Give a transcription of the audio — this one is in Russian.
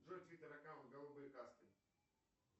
джой твиттер аккаунт голубые каски